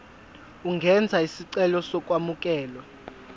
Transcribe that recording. ungenza isicelo sokwamukelwa